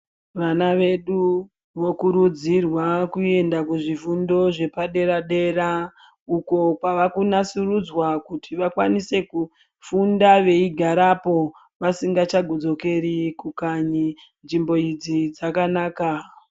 Vana vedu vokurudzirwa kuenda kuzvifundo zvepadera-dera uko kwava kunasurudzwa kuti vakwanise kufunda veigarapo vasingachadzokeri kukanyi nzvimbo idzi dakanaka.